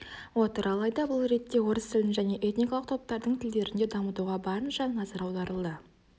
отыр алайда бұл ретте орыс тілін және этникалық топтардың тілдерін де дамытуға барынша назар аударылады